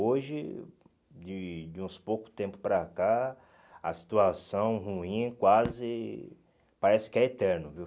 Hoje, de de uns pouco tempo para cá, a situação ruim quase... Parece que é eterno, viu?